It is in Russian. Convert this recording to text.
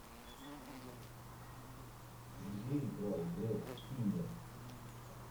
где играл грег киннир